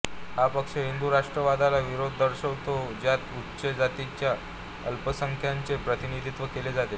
हा पक्ष हिंदू राष्ट्रवादाला विरोध दर्शवितो ज्यात उच्च जातीच्या अल्पसंख्याकांचे प्रतिनिधित्व केले जाते